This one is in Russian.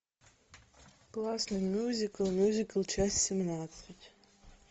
классный мюзикл мюзикл часть семнадцать